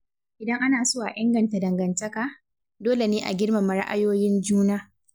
Idan ana so a inganta dangantaka, dole ne a girmama ra’ayoyin juna.